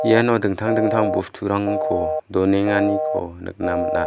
iano dingtang dingtang bosturangko donenganiko nikna man·a.